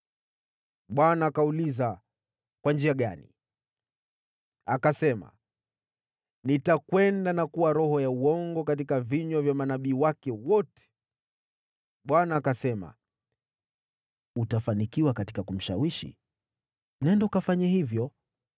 “ Bwana akauliza, ‘Kwa njia gani?’ “Akasema, ‘Nitakwenda na kuwa roho ya uongo katika vinywa vya manabii wake wote.’ “ Bwana akasema, ‘Utafanikiwa katika kumshawishi. Nenda ukafanye hivyo.’